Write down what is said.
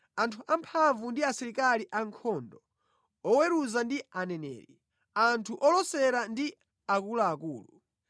anthu amphamvu ndi asilikali ankhondo, oweruza ndi aneneri, anthu olosera ndi akuluakulu,